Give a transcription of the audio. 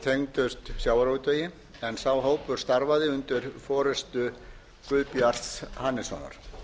tengdust sjávarútvegi en sá hópur starfaði undir forustu guðbjarts hannessonar